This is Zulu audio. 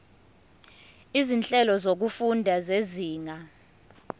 izinhlelo zokufunda zezinga